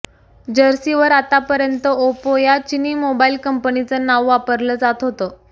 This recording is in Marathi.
जर्सीवर आतापर्यंत ओप्पो या चिनी मोबाइल कंपनीचं नाव वापरलं जात होतं